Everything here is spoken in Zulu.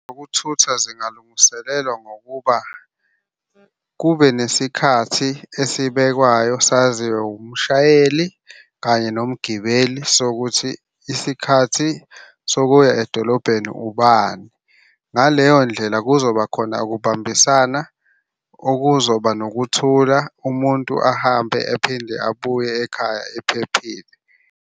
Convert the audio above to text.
Ukuthutha zingalungiselelwa ngokuba kube nesikhathi esibekwayo saziwe umshayeli kanye nomgibeli sokuthi isikhathi sokuya edolobheni ubani. Ngaleyo ndlela kuzoba khona ukubambisana okuzoba nokuthula umuntu ahambe ephinde abuye ekhaya ephephile.